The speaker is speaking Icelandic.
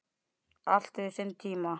Allt hefur sinn tíma